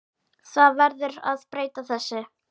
Það verður að breyta þessu.